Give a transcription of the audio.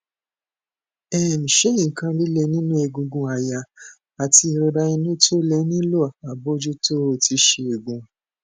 um ṣé nkan lile ninu egungun aya ati irora inu to le nilo abojuto ti isegun